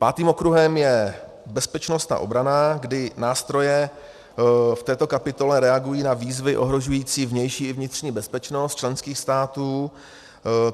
Pátým okruhem je bezpečnost a obrana, kdy nástroje v této kapitole reagují na výzvy ohrožující vnější i vnitřní bezpečnost členských států.